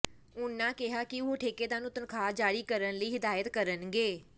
ਉਨ੍ਹਾਂ ਕਿਹਾ ਕਿ ਉਹ ਠੇਕੇਦਾਰ ਨੂੰ ਤਨਖ਼ਾਹ ਜਾਰੀ ਕਰਨ ਲਈ ਹਦਾਇਤ ਕਰਨਗੇ